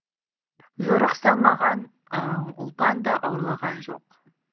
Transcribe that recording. жорық салмаған ұлпан да ауырлаған жоқ